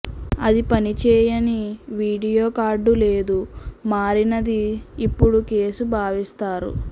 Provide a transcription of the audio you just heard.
అది పని చేయని వీడియో కార్డు లేదు మారినది ఇప్పుడు కేసు భావిస్తారు